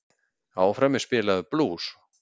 Áfram er spilaður blús.